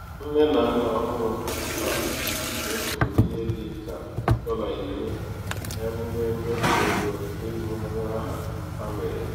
nne na nna ọhụrụ a mefuru ihe dị ka dọla iri n'emume mmefu ego ịgụ nwa aha ha mere.